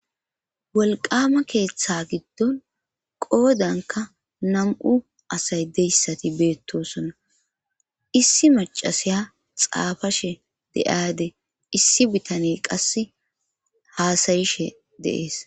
Wolqama keeththa giddon qoodanka nam'u asay deyssati beettosona issi macasiya xaafashe de7aade issi bitane qasse haasayishe deees.